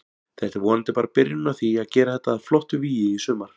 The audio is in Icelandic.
Þetta er vonandi bara byrjunin á því að gera þetta að flottu vígi í sumar.